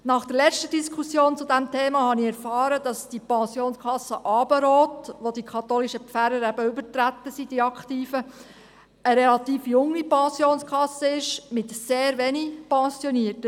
Nach der letzten Diskussion zu diesem Thema habe ich erfahren, dass die Pensionskasse Abendrot, in welche die aktiven katholischen Pfarrer eben übergetreten sind, eine relativ junge Pensionskasse ist, mit sehr wenig Pensionierten.